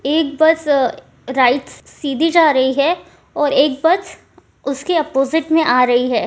एक बस अ राईट सी सीधी जा रही है और एक बस उसके अपोजिट में आ रही है।